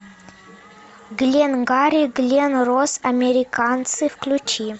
гленгарри глен росс американцы включи